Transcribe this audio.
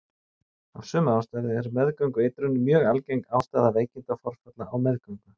Af sömu ástæðu er meðgöngueitrun mjög algeng ástæða veikindaforfalla á meðgöngu.